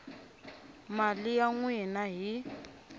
mali ya n wina hi